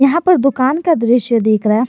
यहां पर दुकान का दृश्य दिख रहा है।